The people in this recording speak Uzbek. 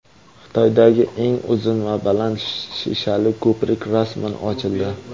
Xitoydagi eng uzun va baland shishali ko‘prik rasman ochildi.